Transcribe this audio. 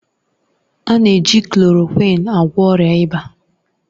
A na-eji klòròkwịn agwọ ọrịa ịba.